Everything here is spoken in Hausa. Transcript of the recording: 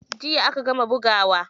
Jiya aka gama bugawa.